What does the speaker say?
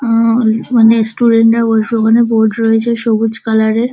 আ অনেক স্টুডেন্ট -এর উলটো খানে বোড রয়েছে সবুজ কালার -এর ।